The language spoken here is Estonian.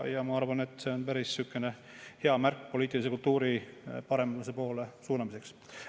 Ma arvan, et see on päris hea märk poliitilise kultuuri paremuse poole suunamiseks.